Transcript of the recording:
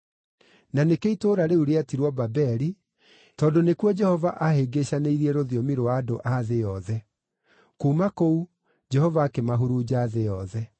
Na nĩkĩo itũũra rĩu rĩetirwo Babeli, tondũ nĩkuo Jehova aahĩngĩcanĩirie rũthiomi rwa andũ a thĩ yothe. Kuuma kũu, Jehova akĩmahurunja thĩ yothe.